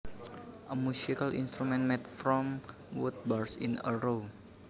A musical instrument made from wood bars in a row